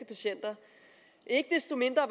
patienter ikke desto mindre